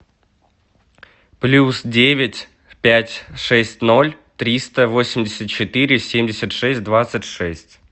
плюс девять пять шесть ноль триста восемьдесят четыре семьдесят шесть двадцать шесть